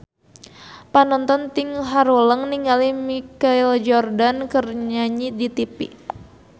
Panonton ting haruleng ningali Michael Jordan keur nyanyi di tipi